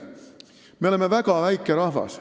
Me oleme väga väike rahvas.